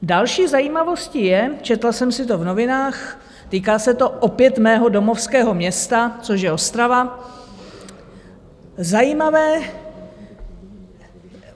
Další zajímavostí je, četla jsem si to v novinách, týká se to opět mého domovského města, což je Ostrava, zajímavé.